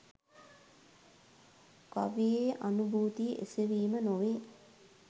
කවියේ අනුභූතිය එසවීම නොවේ